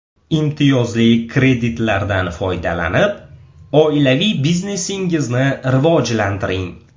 Imtiyozli kreditlardan foydalanib, oilaviy biznesingizni rivojlantiring!